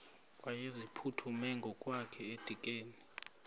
wayeziphuthume ngokwakhe edikeni